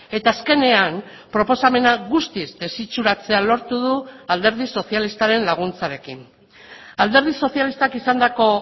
eta azkenean proposamena guztiz desitxuratzea lortu du alderdi sozialistaren laguntzarekin alderdi sozialistak izandako